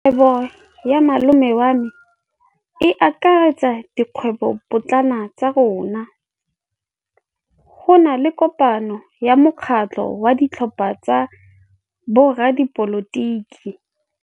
Kgwêbô ya malome wa me e akaretsa dikgwêbôpotlana tsa rona. Go na le kopanô ya mokgatlhô wa ditlhopha tsa boradipolotiki.